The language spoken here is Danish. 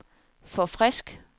forfrisk